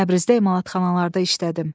Təbrizdə emalatxanalarda işlədim.